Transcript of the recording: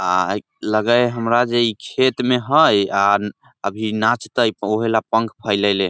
आ लगय हेय हमरा खेत में हेय अभी नाचते आब उहे ले पंख फैलेला हेय ।